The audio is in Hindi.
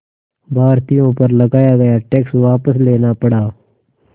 भारतीयों पर लगाया गया टैक्स वापस लेना पड़ा